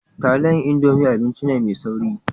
Taliyan indomi abinci ne mai sauri